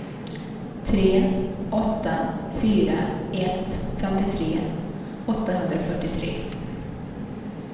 tre åtta fyra ett femtiotre åttahundrafyrtiotre